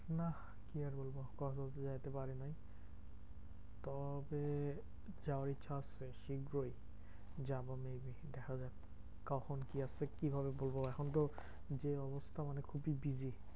নাহ কি আর বলবো? কক্সবাজার যেতে পারিনি। তবে যাওয়ার ইচ্ছা আছে দিন দুই যাবো maybe তাহলে কখন কি আছে কি ভাবে বলবো? এখন তো যে অবস্থা মানে খুবই busy.